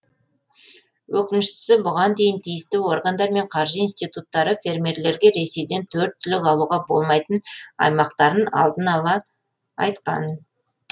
өкініштісі бұған дейін тиісті органдар мен қаржы институттары фермерлерге ресейден төрт түлік алуға болмайтын аймақтарын алдын ала айтқан